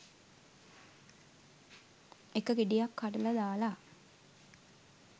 එක ගෙඩියක්‌ කඩලා දාලා